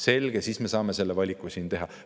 Selge, siis me saame selle valiku siin teha.